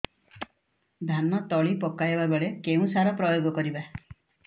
ଧାନ ତଳି ପକାଇବା ବେଳେ କେଉଁ ସାର ପ୍ରୟୋଗ କରିବା